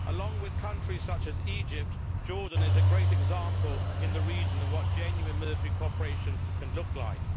Along with countries such as Egypt, Jordan is a great example in the region of what genuine military cooperation can look like.